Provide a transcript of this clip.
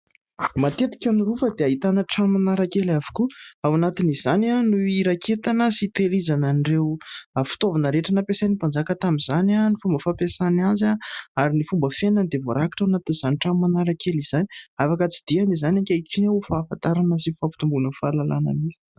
Matetika ny rova dia ahitana trano marakely avokoa ao anatin'izany no hiraketana sy hitehirizana an'ireo fitaovana rehetra nampiasain'ny mpanjaka tamin'izany, ny fomba fampiasainy azy ary ny fomba fiainany dia voarakitra ao amin'izany trano marakely izany. Afaka tsidihana izany ankehitriny ho fahafantarana sy ho fampitomboana ny fahalalàna efa misy.